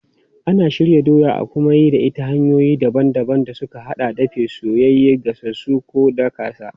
Ana shirya doya a kuma yi da ita ta hanyoyi daban-daban da suka haɗa da dafaffe, soyayye, gasassu ko daƙasa.